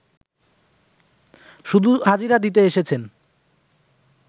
শুধু হাজিরা দিতে এসেছেন